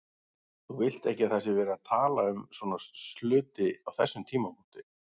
Þú vilt ekki að það sé verið að tala um svona hluti á þessum tímapunkti.